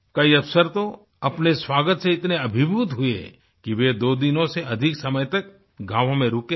कई अफसर तो अपने स्वागत से इतने अभिभूत हुए कि वे दो दिनों से अधिक समय तक गाँवों में रुके रहे